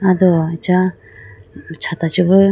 ado acha chata chibo .